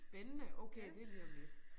Spændende okay det lige om lidt